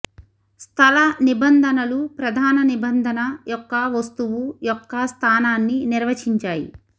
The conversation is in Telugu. స్థల నిబంధనలు ప్రధాన నిబంధన యొక్క వస్తువు యొక్క స్థానాన్ని నిర్వచించాయి